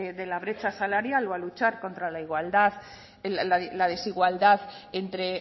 de la brecha salarial o a luchar contra la desigualdad entre